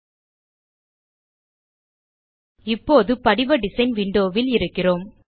நாம் இப்போது படிவ டிசைன் விண்டோ வில் இருக்கிறோம்